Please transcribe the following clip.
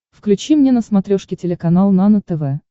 включи мне на смотрешке телеканал нано тв